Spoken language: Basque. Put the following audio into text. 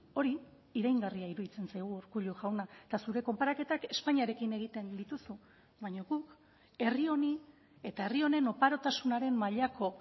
hori iraingarria iruditzen zaigu urkullu jauna eta zure konparaketak espainiarekin egiten dituzu baina guk herri honi eta herri honen oparotasunaren mailako